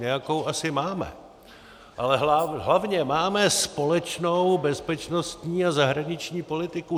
Nějakou asi máme, ale hlavně máme společnou bezpečnostní a zahraniční politiku.